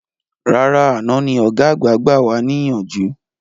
Rárá àná ni ọ̀gá gbà wà ní ìyànjú